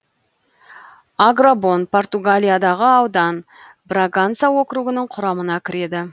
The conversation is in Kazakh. агробон португалиядағы аудан браганса округінің құрамына кіреді